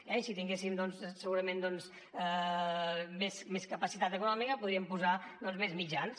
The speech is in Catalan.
i si tinguéssim segurament més capacitat econòmica podríem posar hi més mitjans